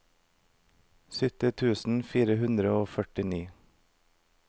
sytti tusen fire hundre og førtini